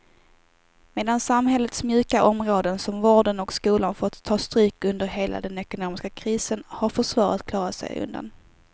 Medan samhällets mjuka områden som vården och skolan fått ta stryk under hela den ekonomiska krisen har försvaret klarat sig undan.